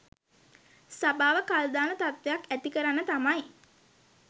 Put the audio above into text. සභාව කල් දාන තත්ත්වයක් ඇතිකරන්න තමයි